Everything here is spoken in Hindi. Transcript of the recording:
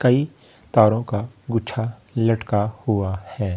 कई तारों का गुच्छा लटका हुआ है।